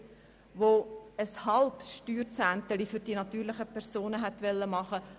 Dabei wurde ein halbes Steuerzehntelchen für die natürlichen Personen gefordert.